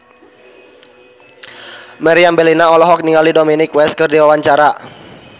Meriam Bellina olohok ningali Dominic West keur diwawancara